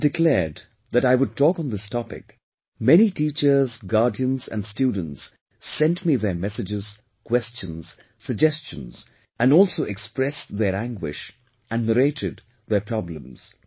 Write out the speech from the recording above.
When I'd declared that I would talk on this topic, many teachers, guardians and students sent me their messages, questions, suggestions and also expressed their anguish and narrated their problems